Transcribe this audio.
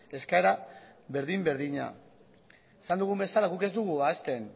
eskaera berdin berdina esan dugun bezala guk ez dugu ahazten